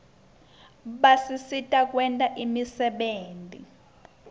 basisita kwenta imisebenti